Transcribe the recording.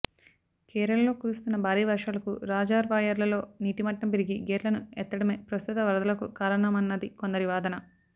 కేరళలో కురుస్తున్న భారీ వర్షాలకు రాజర్వాయర్లలో నీటి మట్టం పెరిగి గేట్లను ఎత్తడమే ప్రస్తుత వరదలకు కారణమన్నది కొందరి వాదన